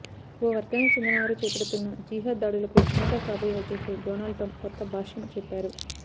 ఓ వర్గానికి చెందిన వారు చేపడుతున్న జిహాద్ దాడులకు అమెరికా కాబోయే అధ్యక్షుడు డొనాల్డ్ ట్రంప్ కొత్త భాష్యం చెప్పారు